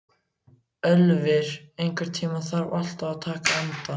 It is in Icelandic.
Ölvir, einhvern tímann þarf allt að taka enda.